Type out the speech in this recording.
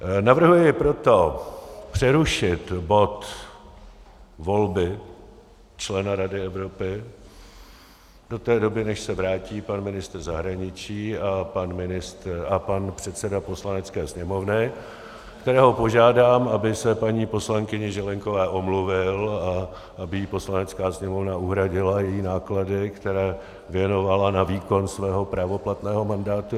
Navrhuji proto přerušit bod volby člena Rady Evropy do té doby, než se vrátí pan ministr zahraničí a pan předseda Poslanecké sněmovny, kterého požádám, aby se paní poslankyni Zelienkové omluvil a aby jí Poslanecká sněmovna uhradila její náklady, které věnovala na výkon svého právoplatného mandátu.